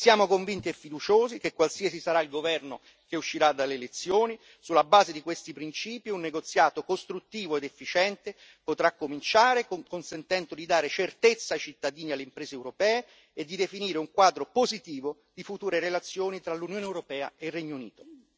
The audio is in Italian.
E siamo convinti e fiduciosi che qualsiasi sarà il governo che uscirà dalle elezioni, sulla base di questi principi un negoziato costruttivo ed efficiente potrà cominciare consentendo di dare certezza ai cittadini e alle imprese europee e di definire un quadro positivo di future relazioni tra l'Unione europea e il Regno Unito.